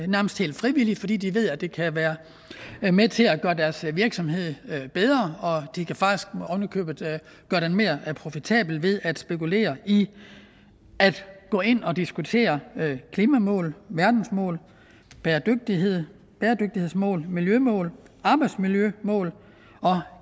nærmest helt frivilligt fordi de ved at det kan være med til at gøre deres virksomhed bedre og de kan faktisk ovenikøbet gøre den mere profitabel ved at spekulere i at gå ind og diskutere klimamål verdensmål bæredygtighedsmål bæredygtighedsmål miljømål arbejdsmiljømål og